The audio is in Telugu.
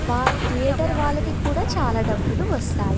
థియేటర్ వాళ్లకు కూడా చాలా డబ్బులు వస్తాయి.